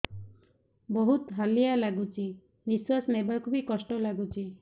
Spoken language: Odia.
ବହୁତ୍ ହାଲିଆ ଲାଗୁଚି ନିଃଶ୍ବାସ ନେବାକୁ ଵି କଷ୍ଟ ଲାଗୁଚି